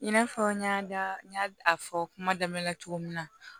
I n'a fɔ n y'a fɔ kuma daminɛ na cogo min na